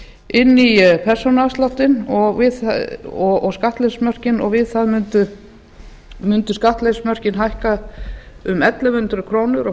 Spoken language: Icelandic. inn í persónuafsláttinn og skattleysismörkin og við það mundu skattleysismörkin hækka um ellefu hundruð krónur og